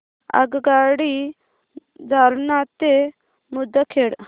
आगगाडी जालना ते मुदखेड